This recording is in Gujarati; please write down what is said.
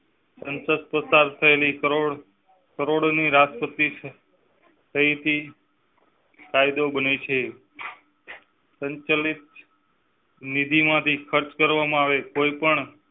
સંસધ પસાર થયેલી કરોડો ની રાષ્ટ્રપતિ. તઈ થી. કાયદો બને છે સંચાલિત નીધિમાંથી ખર્ચ કરવામાં આવે કોઈ પણ.